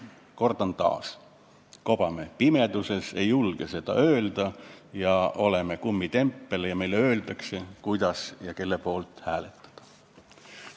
Kordan taas: me kobame pimeduses, ei julge seda öelda ja oleme kummitempel, kellele öeldakse, kuidas ja kelle poolt hääletada.